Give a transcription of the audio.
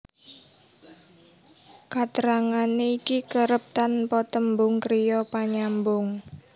Katrangané iki kerep tanpa tembung kriya panyambung